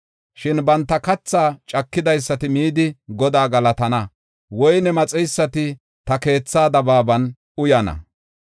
Shin banta kathaa cakidaysati midi Godaa galatana; woyne maxeysati ta keethaa dabaaban uyana.